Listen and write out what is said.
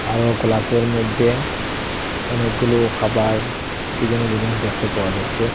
আরও গ্লাসের মইধ্যে অনেকগুলো খাবার কী যেন জিনিস দেখতে পাওয়া যাচ্ছে।